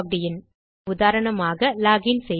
000816 000621 ஆகவே உதாரணமாக log in செய்வேன்